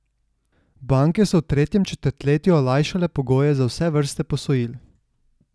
Banke so v tretjem četrtletju olajšale pogoje za vse vrste posojil.